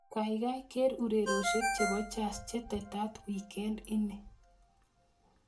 Gaigai ker urerioshek chebo jazz chetetat wikend ini